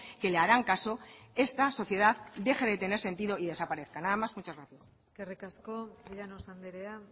que le harán caso esta sociedad deje de tener sentido y desaparezca nada más y muchas gracias eskerrik asko llanos andrea